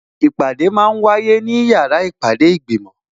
Ìpàdé máa ń wáyé ní yàrá ìpàdé ìgbìmò